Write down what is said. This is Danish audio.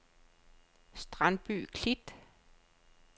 Strandby Klit